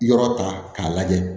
Yɔrɔ ta k'a lajɛ